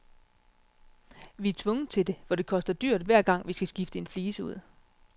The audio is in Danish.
Vi er tvunget til det, for det koster dyrt, hver gang vi skal skifte en flise ud.